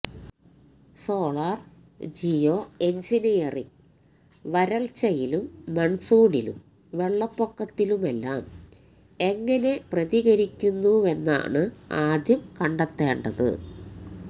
solar geo engineering വരള്ച്ചയിലും മണ്സൂണിലും വെള്ളപ്പൊക്കത്തിലുമെല്ലാം എങ്ങനെ പ്രതികരിക്കുന്നുവെന്നാണ് ആദ്യം കണ്ടെത്തേണ്ടത്